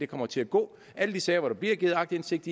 kommer til at gå alle de sager hvor der bliver givet aktindsigt